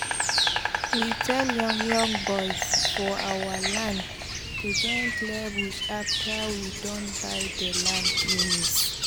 we tell young young boys for our land to join clear bush afta we don buy dey land finis